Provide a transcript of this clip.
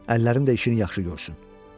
Əllərim də işini yaxşı görsün.